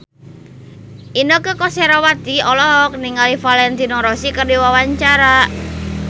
Inneke Koesherawati olohok ningali Valentino Rossi keur diwawancara